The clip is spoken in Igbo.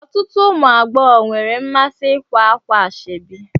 Ọtụtụ ụmụ agbọghọ nwere mmasị ikwa ákwà ashebi